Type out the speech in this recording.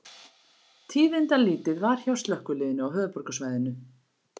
Tíðindalítið var hjá slökkviliðinu á höfuðborgarsvæðinu